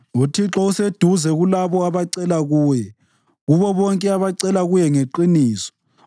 UThixo useduze kulabo abacela kuye, kubo bonke abacela kuye ngeqiniso.